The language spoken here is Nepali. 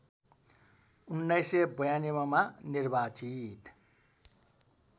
१९९२ मा निर्वाचित